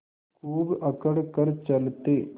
खूब अकड़ कर चलते